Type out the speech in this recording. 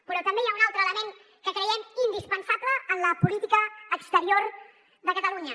però també hi ha un altre element que creiem indispensable en la política exterior de catalunya